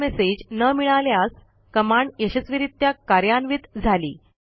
error message न मिळाल्यास command यशस्वीरित्या कार्यान्वित झाली